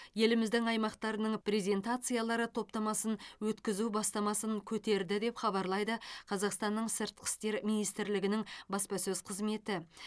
еліміздің аймақтарының презентациялары топтамасын өткізу бастамасын көтерді деп хабарлайды қазақстанның сыртқы істер министрлігінің баспасөз қызметі